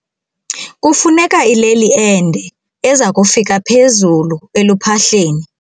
Kufuneka ileli ende eza kufika phezulu eluphahleni.